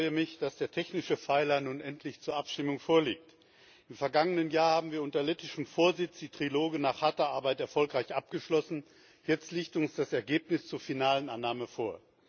Ich freue mich, dass der technische Pfeiler nun endlich zur Abstimmung vorliegt. Im vergangenen Jahr haben wir unter lettischem Vorsitz die Triloge nach harter Arbeit erfolgreich abgeschlossen, jetzt liegt uns das Ergebnis zur finalen Annahme vor.